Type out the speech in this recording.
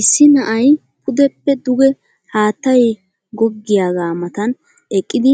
Issi na'ay pudeppe dugee haattay goggiyaagaa Matan eqqidi